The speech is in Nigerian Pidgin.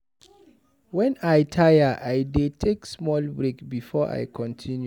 Wen I tire, I dey take small break before I go continue.